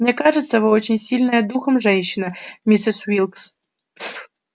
мне кажется вы очень сильная духом женщина миссис уилкс